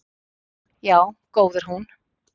Já góð er hún.